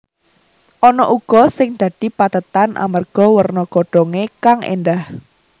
Ana uga sing dadi pethètan amarga werna godhongé kang éndah